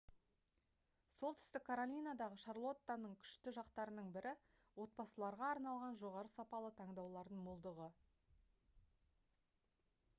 солтүстік каролинадағы шарлоттаның күшті жақтарының бірі отбасыларға арналған жоғары сапалы таңдаулардың молдығы